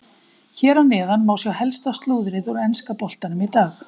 Hér að neðan má sjá helsta slúðrið úr enska boltanum í dag.